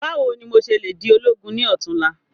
Báwo ni mo se le di ológun ni òtún la?